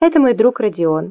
это мой друг родион